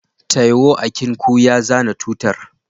Taiwo akinku ya zana tutar.